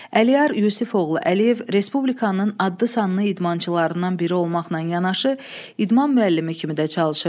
Əliyar Yusifoğlu Əliyev Respublikanın adlı-sanlı idmançılarından biri olmaqla yanaşı idman müəllimi kimi də çalışırdı.